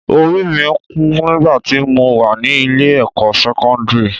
Orí mi kú nígbà tí mo wà ní ilé-ẹ̀kọ́ sẹ́kọ́ndírì